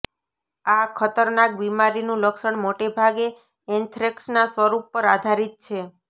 આ ખતરનાક બિમારીનું લક્ષણ મોટે ભાગે એન્થ્રેક્સના સ્વરૂપ પર આધારિત છે